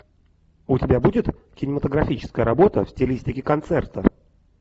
у тебя будет кинематографическая работа в стилистике концерта